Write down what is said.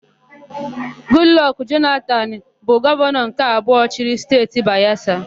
Gudlọkụ Jonatanu bụ gọvanọ nke abụọ chịrị Steeti Bayesa.